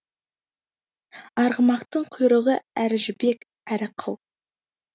арғымақтың құйрығы әрі жібек әрі қыл